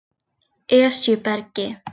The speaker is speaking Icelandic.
Esjubergi